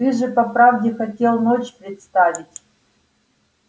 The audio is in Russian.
ты же по правде хотел ночь представить